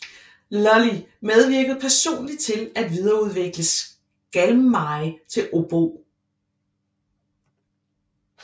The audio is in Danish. Lully medvirkede personlig til at videreudvikle skalmeje til obo